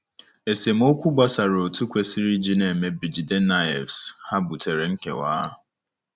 Esemokwu gbasara otu ekwesịrị isi na-eme bJidennaefs ha butere nkewa.